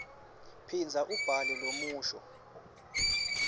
phindza ubhale lomusho